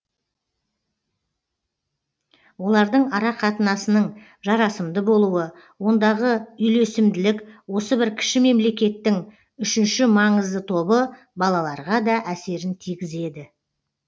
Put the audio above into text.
олардың арақатынасының жарасымды болуы ондағы үйлесімділік осы бір кіші мемлекеттің үшінші маңызды тобы балаларға да әсерін тигізеді